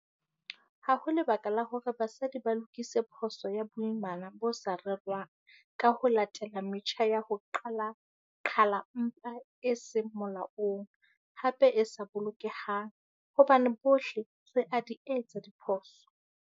Ha ho lebaka la hore basadi ba lokise phoso ya boimana bo sa rerwang ka ho latela metjha ya ho qhala mpha e seng molaong, hape e sa bolokehang, hobane bohle re a di etsa diphoso.